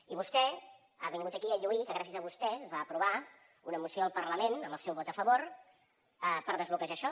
i vostè ha vingut aquí a lluir que gràcies a vostès es va aprovar una moció al parlament amb el seu vot a favor per desbloquejar això